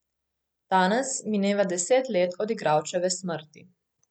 Danes mineva deset let od igralčeve smrti.